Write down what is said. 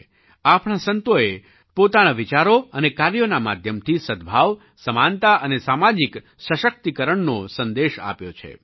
આપણા સંતોએ પોતાના વિચારો અને કાર્યોના માધ્યમથી સદ્ભાવ સમાનતા અને સામાજિક સશક્તિકરણનો સંદેશ આપ્યો છે